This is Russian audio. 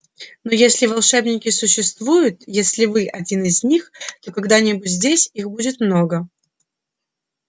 но если волшебники существуют если вы один из них то когда-нибудь здесь их будет много